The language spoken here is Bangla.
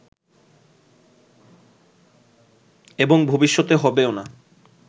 এবং ভবিষ্যতে হবেও না